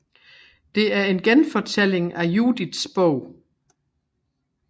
Det er en genfortælling af Judits Bog